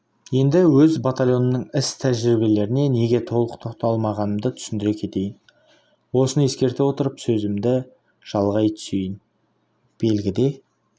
енді өз батальонымның іс-тәжірибелеріне неге толық тоқталғанымды түсіндіре кетейін осыны ескерте отырып сөзімді жалғай түсейін белгіде